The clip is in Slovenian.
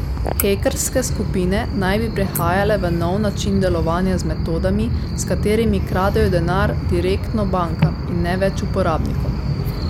Hekerske skupine naj bi prehajale v nov način delovanja z metodami, s katerimi kradejo denar direktno bankam in ne več uporabnikom.